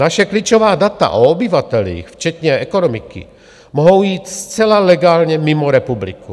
Naše klíčová data o obyvatelích včetně ekonomiky mohou jít zcela legálně mimo republiku.